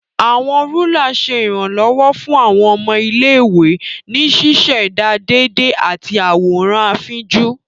Awọn Rúlà ṣe iranlọwọ fun awọn ọmọ ilé-ìwé ní ṣiṣẹda déédé ati awọn àwòrán afínjú.